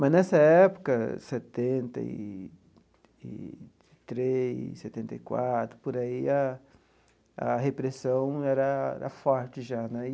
Mas nessa época, setenta e e três, setenta e quatro, por aí a a repressão era era forte já daí.